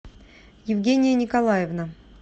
евгения николаевна